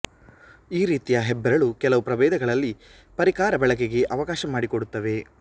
ಈ ರೀತಿಯ ಹೆಬ್ಬರಳು ಕೆಲವು ಪ್ರಭೇದಗಳಲ್ಲಿ ಪರಿಕರ ಬಳಕೆಗೆ ಅವಕಾಶ ಮಾಡಿಕೊಡುತ್ತವೆ